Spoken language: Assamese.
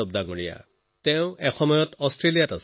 বীৰেন্দ্ৰ যাদব এসময়ত অষ্ট্ৰেলিয়াত আছিল